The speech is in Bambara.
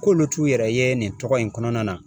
K'olu t'u yɛrɛ ye nin tɔgɔ in kɔnɔna na